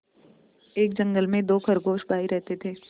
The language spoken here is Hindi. एक जंगल में दो खरगोश भाई रहते थे